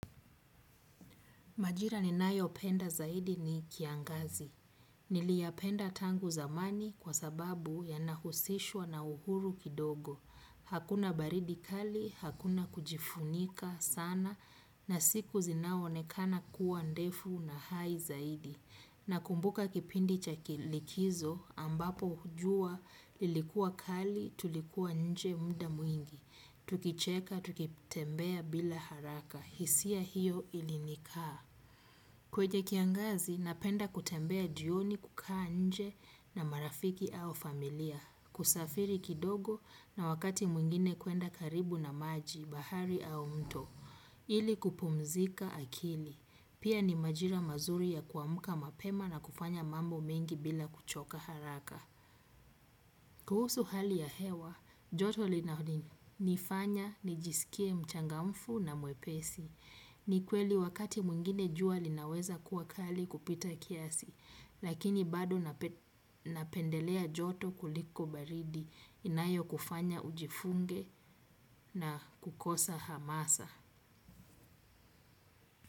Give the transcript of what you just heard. Majira ni nayo penda zaidi ni kiangazi. Niliyapenda tangu zamani kwa sababu ya nahusishwa na uhuru kidogo. Hakuna baridi kali hakuna kujifunika sana na siku zinaonekana kuwa ndefu na hai zaidi. Na kumbuka kipindi cha kilikizo ambapo jua lilikua kali tulikuwa nje muda mwingi. Tukicheka, tukitembea bila haraka. Hisia hiyo ilinikaa. Kwenye kiangazi, napenda kutembea jioni kukaa nje na marafiki au familia. Kusafiri kidogo na wakati mwingine kuenda karibu na maji, bahari au mto. Ili kupumzika akili pia ni majira mazuri ya kuamka mapema na kufanya mambo mengi bila kuchoka haraka. Kuhusu hali ya hewa, joto linanifanya, nijisikie mchangamfu na mwepesi. Ni kweli wakati mwingine jua linaweza kuwa kali kupita kiasi. Lakini bado napendelea joto kuliko baridi inayo kufanya ujifunge na kukosa hamasa.